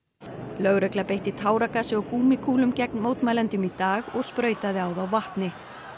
lögregla beitti táragasi og gúmmíkúlum gegn mótmælendum í dag og sprautaði á þá vatni